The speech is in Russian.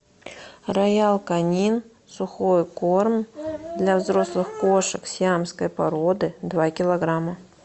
роял канин сухой корм для взрослых кошек сиамской породы два килограмма